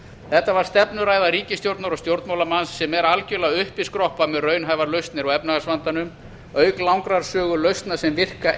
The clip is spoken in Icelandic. þetta var stefnuræða ríkisstjórnar og stjórnmálamanns sem er algerlega uppiskroppa með raunhæfar lausnir á efnahagsvandanum auk langrar sögu lausna sem virka